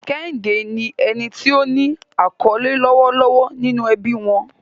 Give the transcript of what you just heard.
Kehinde ni ẹni tí ó ní àkọlé lọ́wọ́lọ́wọ́ nínú ẹbí wọn.